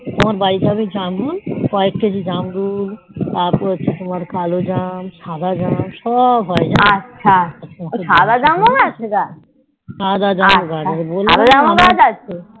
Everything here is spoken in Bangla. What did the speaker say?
তোমার বাড়িতে আমি জামরুল কয়েক কেজি জামরুল তারপর হচ্ছে তোমার কালো জাম সাদা জাম সব হয়ে যেন সাদা জ্যাম বলাম